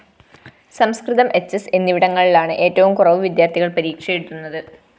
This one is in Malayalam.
സംസ്‌കൃതം എച്ച്എസ് എന്നിവിടങ്ങളിലാണ് ഏറ്റവും കുറവു വിദ്യാര്‍ഥികള്‍ പരീക്ഷയെഴുതുന്നത്